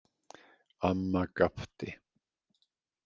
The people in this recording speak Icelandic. Amma gapti.